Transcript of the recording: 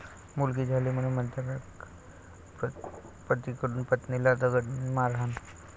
मुलगी झाली म्हणून प्राध्यापक पतीकडून पत्नीला दगडाने मारहाण